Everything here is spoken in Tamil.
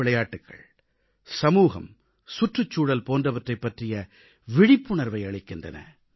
பல விளையாட்டுகள் சமூகம் சுற்றுச்சூழல் போன்றவற்றைப் பற்றிய விழிப்புணர்வை அளிக்கின்றன